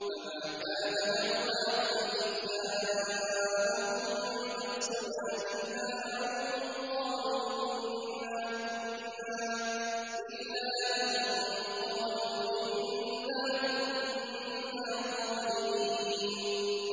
فَمَا كَانَ دَعْوَاهُمْ إِذْ جَاءَهُم بَأْسُنَا إِلَّا أَن قَالُوا إِنَّا كُنَّا ظَالِمِينَ